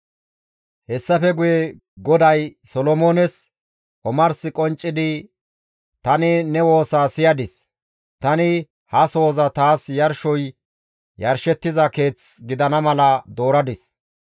Hessafe Guye GODAY Solomoones omars qonccidi, «Tani ne woosaa siyadis; tani ha sohoza taas yarshoy yarshettiza Keeth gidana mala dooradis.